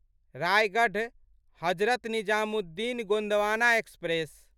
Raigarh Hazrat Nizamuddin Gondwana express